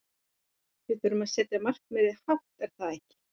Við þurfum að setja markmiðin hátt er það ekki?